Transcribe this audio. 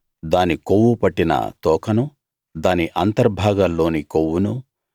దాని కొవ్వు పట్టిన తోకనూ దాని అంతర్భాగాల్లోని కొవ్వునూ